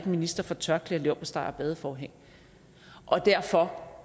minister for tørklæder leverpostej og badeforhæng og derfor